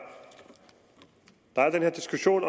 den her diskussion